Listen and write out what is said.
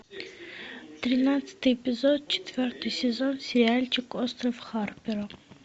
тринадцатый эпизод четвертый сезон сериальчик остров харпера